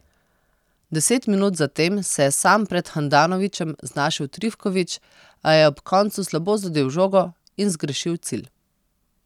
Deset minut zatem se je sam pred Handanovićem znašel Trifković, a je ob koncu slabo zadel žogo in zgrešil cilj.